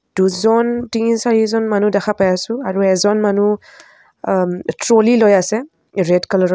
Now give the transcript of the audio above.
দুজন তিনি-চাৰিজন মানুহ দেখা পাই আছোঁ আৰু এজন মানুহ অহ-ম ট্ৰ'লি লৈ আছে ৰেড কালাৰ ৰ।